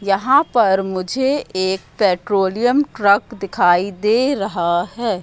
यहां पर मुझे एक पेट्रोलियम ट्रक दिखाई दे रहा हैं।